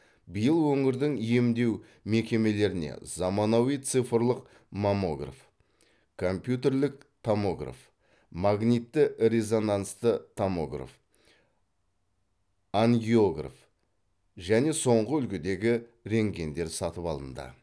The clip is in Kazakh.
биыл өңірдің емдеу мекемелеріне заманауи цифрлық маммограф компьютерлік томограф магнитті резонансты томограф ангиограф және соңғы үлгідегі рентгендер сатып алынды